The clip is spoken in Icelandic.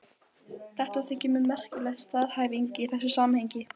Oft var aflinn ekki annað en marglyttur og marhnútar.